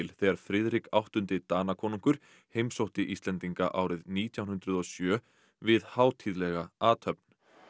þegar Friðrik áttundi Danakonungur heimsótti Íslendinga árið nítján hundruð og sjö við hátíðlega athöfn